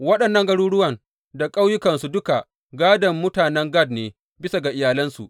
Waɗannan garuruwan da ƙauyukansu duka, gādon mutanen Gad ne, bisa ga iyalansu.